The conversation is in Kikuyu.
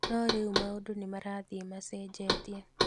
No rĩu maũndũ nĩmarathiĩ macenjetie,